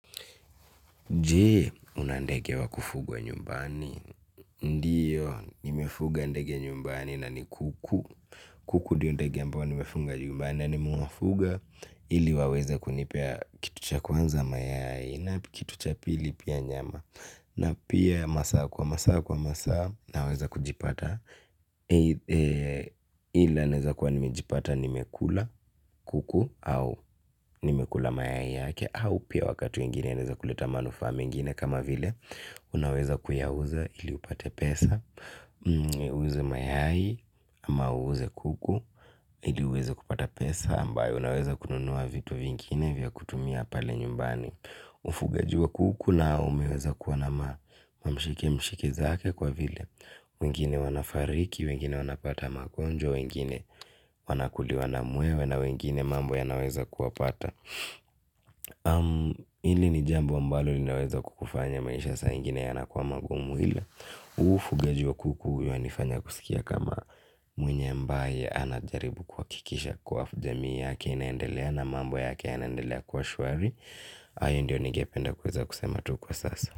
Je, una ndege wa kufugwa nyumbani? Ndiyo, nimefuga ndege nyumbani na ni kuku. Kuku ndio ndege ambao nimefuga nyumbani na nimewafuga ili waweze kunipea kitu cha kwanza mayai na kitu cha pili pia nyama. Na pia masaa kwa masaa kwa masaa naweza kujipata ila naeza kwa nimejipata nimekula kuku au nimekula mayai yake au pia wakati ingine naeza kuleta manufaa mengine kama vile unaweza kuyauza ili upate pesa, uuze mayai ama uuze kuku ili uweza kupata pesa ambayo unaweza kununua vitu vingine vya kutumia pale nyumbani. Ufugaji wa kuku na umeweza kuwa na mamshikimshiki zake kwa vile wengine wanafariki, wengine wanapata magonjwa, wengine wanakuliwa na mwewe na wengine mambo yanaweza kuwapata hili ni jambo ambalo linaweza kufanya maisha saa ingine yanakuwa magumu. Huu ufugaji wa kuku unanifanya kuskia kama mwenye ambaye anajaribu kuhakikisha kuwa jamii inaendelea na mambo yake yanaendelea kuwa shwari hayo ndio ningependa kuweza kusema tu kwa sasa.